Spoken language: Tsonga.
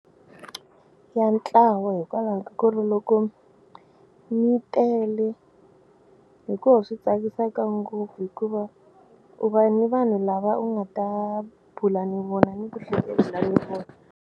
Ya ntlawa hikwalaho ka ku ri loko mi tele hi ku swi tsakisaka ngopfu hikuva u va ni vanhu lava u nga ta bula ni vona ni ku hlekelela ni vona.